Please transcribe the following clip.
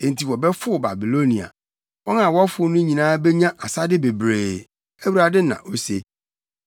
Enti wɔbɛfow Babilonia; wɔn a wɔfow no nyinaa benya asade bebree,” Awurade na ose.